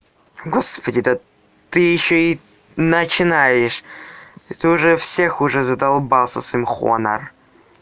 господи да ты ещё и начинаешь ты уже всех уже задолбал со своим хонор